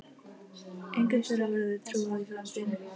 Engum þeirra verður trúað í framtíðinni.